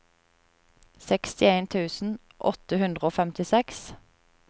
sekstien tusen åtte hundre og femtiseks